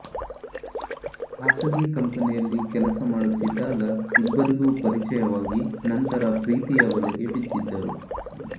ಖಾಸಗಿ ಕಂಪನಿಯಲ್ಲಿ ಕೆಲಸ ಮಾಡುತ್ತಿದ್ದಾಗ ಇಬ್ಬರಿಗೂ ಪರಿಚಯವಾಗಿ ನಂತರ ಪ್ರೀತಿಯ ಬಲೆಗೆ ಬಿದ್ದಿದ್ದರು